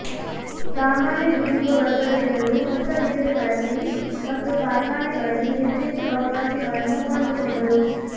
ಸಾಮಾನ್ಯ ದುಡಿಯುವ ವರ್ಗದ ಜನರು ಹೊಸ ಗಿರಣಿಗಳಲ್ಲಿ ಮತ್ತು ಕಾರ್ಖಾನೆಗಳಲ್ಲಿ ಹೆಚ್ಚೆಚ್ಚು ಅವಕಾಶಗಳನ್ನು ಕಂಡುಕೊಂಡರು